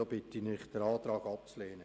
Ich bitte Sie, diesen Antrag abzulehnen.